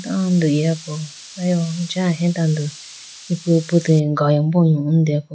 Tando igapo ayiwu acha aheya tando galimbo yohone deyapo.